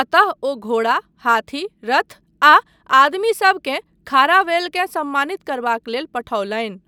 अतः ओ घोड़ा, हाथी, रथ आ आदमीसबकेँ खारावेलकेँ सम्मानित करबाक लेल पठौलनि।